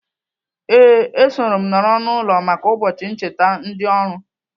Ee, esoro m nọrọ n'ụlọ maka ụbọchị ncheta ndị oru.